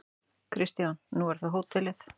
Kristján: Nú er það hótelið?